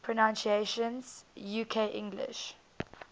pronunciations uk english